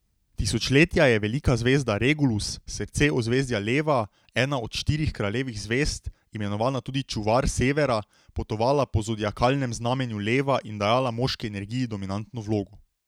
Tisočletja je velika zvezda Regulus, srce ozvezdja Leva, ena od štirih kraljevih zvezd, imenovana tudi Čuvar severa, potovala po zodiakalnem znamenju leva in dajala moški energiji dominantno vlogo.